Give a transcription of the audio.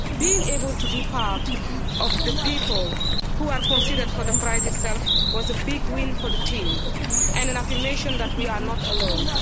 Being able to be part of the people who are considered for the prize itself was a big win for the team and an affirmation that we are not alone'.